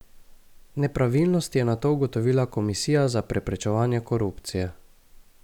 Nepravilnosti je nato ugotovila Komisija za preprečevanje korupcije.